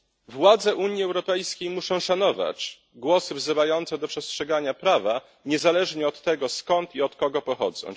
Władze Unii Europejskiej muszą szanować głosy wzywające do przestrzegania prawa, niezależnie od tego skąd i od kogo pochodzą.